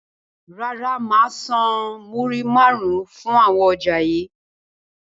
Rárá, máa san múrí máarun fún àwọn ọjà yii.